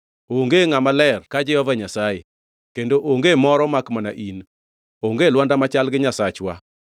“Onge ngʼama ler ka Jehova Nyasaye; kendo onge moro makmana in; onge Lwanda machal gi Nyasachwa.